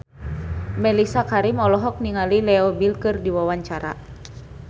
Mellisa Karim olohok ningali Leo Bill keur diwawancara